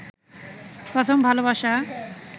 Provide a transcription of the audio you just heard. প্রথম ভালবাসা